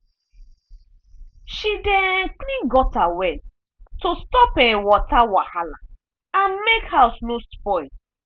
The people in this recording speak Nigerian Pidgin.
she dey um clean gutter well to stop um water wahala and make house no spoil.